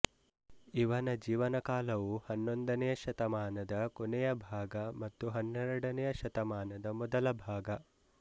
ಇವನ ಜೀವನಕಾಲವು ಹನ್ನೊಂದನೆಯ ಶತಮಾನದ ಕೊನೆಯ ಭಾಗ ಮತ್ತು ಹನ್ನೆರಡನೆಯ ಶತಮಾನದ ಮೊದಲ ಭಾಗ